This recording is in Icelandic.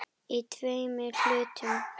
Í tveimur hlutum.